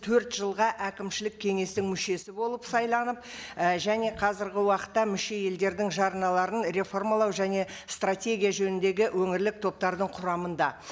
төрт жылға әкімшілік кеңестің мүшесі болып сайланып ы және қазіргі уақытта мүше елдердің жарналарын реформалау және стратегия жөніндегі өңірлік топтардың құрамында